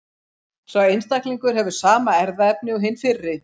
Sá einstaklingur hefur sama erfðaefni og hinn fyrri.